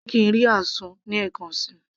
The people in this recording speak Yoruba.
jẹ́ kí ń rí azu ní ẹ̀kan síi